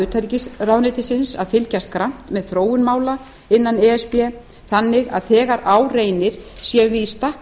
utanríkisráðuneytisins að fylgjast grannt með þróun mála innan e s b þannig að þegar á reynir séum við í stakk